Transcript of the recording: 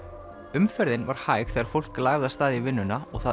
umferðin var hæg þegar fólk lagði af stað í vinnuna og það